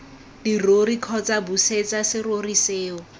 dirori kgotsa busetsa serori seo